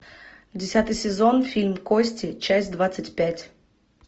десятый сезон фильм кости часть двадцать пять